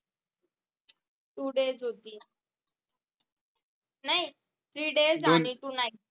two days होती नाही three days आणि two nights